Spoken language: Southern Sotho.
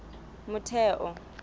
motheo